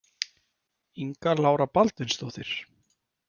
Inga Lára Baldvinsdóttir.